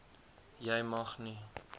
jy mag nie